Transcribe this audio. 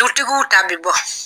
Dutigiw ta bɛ bɔ.